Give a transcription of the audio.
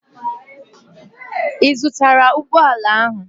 Ị zụtara ụgbọ ala ahụ?